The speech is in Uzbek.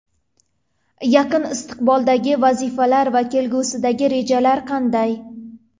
Yaqin istiqboldagi vazifalar va kelgusidagi rejalar qanday?